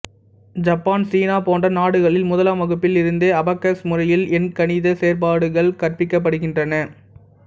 Japan சீனா போன்ற நாடுகளில் முதலாம் வகுப்பில் இருந்தே அபக்கஸ் முறையில் எண்கணித செயற்பாடுகள் கற்பிக்கப்படுகின்றன